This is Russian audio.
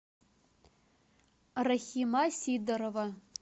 рахима сидорова